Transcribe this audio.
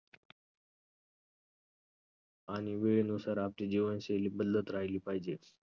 आणि वेळेनुसार आपली जीवनशैली बदलत राहिली पाहिजे.